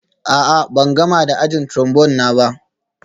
A'a, ban gama da ajin Trombone na ba